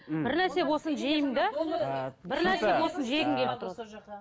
бір нәрсе болсын жеймін де бір нәрсе болсын жегім келіп тұрады